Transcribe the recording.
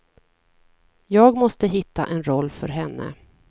Jag måste hitta en roll för henne.